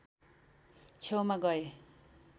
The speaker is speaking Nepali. छेउमा गए